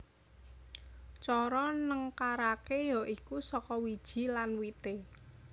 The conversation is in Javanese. Cara nengkaraké ya iku saka wiji lan wité